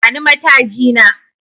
Bani mataji na